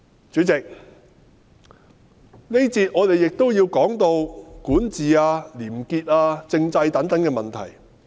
主席，這一個環節，我亦都要談談管治、廉潔、政制等問題。